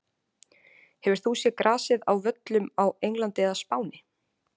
Hefur þú séð grasið á völlum á Englandi eða Spáni?